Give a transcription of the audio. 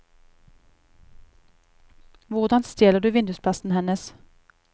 Hvordan stjeler du vindusplassen hennes?